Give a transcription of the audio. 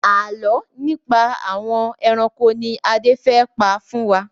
Àálọ́ nípa àwọn ẹranko ni Adé fẹ́ pa fún wa.